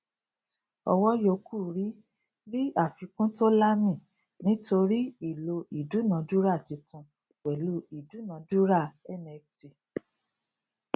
ọwọ yòókù ri ri àfikún to laami nítorí ìlò ìdúnádúrà títún pẹlú ìdúnádúrà nft